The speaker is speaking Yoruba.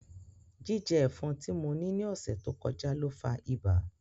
Jijẹ ẹfọn ti mo ni ni ọsẹ to kọja lo fa iba.